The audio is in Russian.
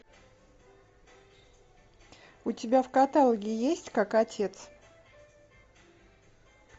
у тебя в каталоге есть как отец